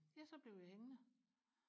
ja så blev jeg hængende